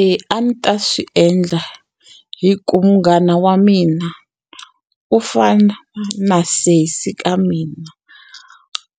E a ni ta swi endla hi ku munghana wa mina u fana na sesi ka mina